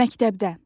Məktəbdə.